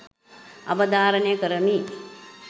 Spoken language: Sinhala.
අවධාරණය කරමි